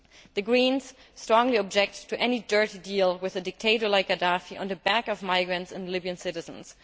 The Greens strongly object to any dirty deal with a dictator like Gaddafi on the back of migrants and Libyan citizens.